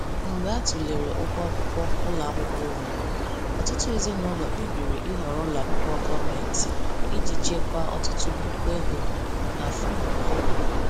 Mgbe a tụlere ụgwọ akwụkwọ ụlọ akwụkwọ onwe, ọtụtụ ezinụlọ kpebiri ịhọrọ ụlọ akwụkwọ gọọmenti iji chekwaa ọtụtụ puku ego n’afọ ọ bụla.